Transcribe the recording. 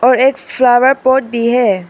और एक flower pot भी है।